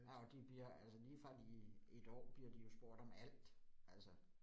Ja og de bliver altså lige fra de 1 år bliver de jo spurgt om alt altså